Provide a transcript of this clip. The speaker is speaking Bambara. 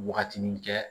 Wagatinin kɛ